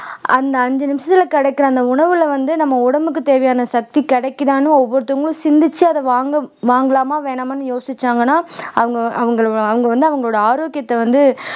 அந்த அஞ்சு நிமிஷத்துல கிடைக்கிற அந்த உணவுல வந்து நம்ம உடம்புக்கு தேவையான சக்தி கிடைக்குதான்னு ஒவ்வொருத்தங்களும் சிந்திச்சு அதை வாங்கம் வாங்கலாமா வேணாமான்னு யோசிச்சாங்கன்னா அவங்க அவங்கள அவங்க வந்து அவங்களோட ஆரோக்கியத்தை வந்து